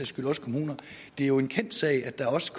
skyld også kommuner det er jo en kendt sag at der også